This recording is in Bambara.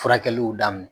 Furakɛliw daminɛ